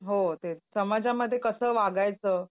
हो तेच, समाजामध्ये कसं वागायचं?